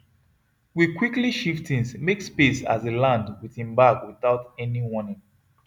we quickly shift things make space as he land with him bag without any warning